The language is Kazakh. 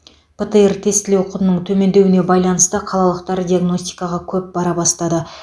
птр тестілеу құнының төмендеуіне байланысты қалалықтар диагностикаға көп бара бастады